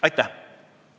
Aitäh, austatud eesistuja!